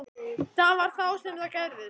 Það var þá sem það gerðist.